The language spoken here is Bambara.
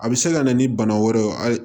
A bɛ se ka na ni bana wɛrɛ ye a